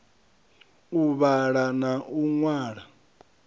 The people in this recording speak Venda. u vhala na u ṅwala